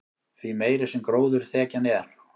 því meiri sem gróðurþekjan er